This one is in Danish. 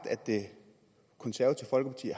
af det konservative folkeparti